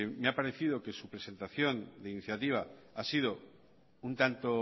me ha parecido que su presentación de iniciativa ha sido un tanto